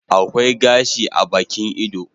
Akwai gashi a Bakin ido